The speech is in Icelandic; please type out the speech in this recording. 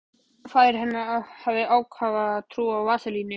Faðir hennar hafði ákafa trú á vaselíni.